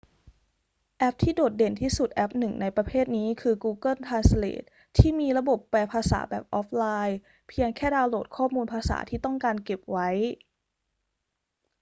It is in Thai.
แอปที่โดดเด่นที่สุดแอปหนึ่งในประเภทนี้คือ google translate ที่มีระบบแปลภาษาแบบออฟไลน์ เพียงแค่ดาวน์โหลดข้อมูลภาษาที่ต้องการเก็บไว้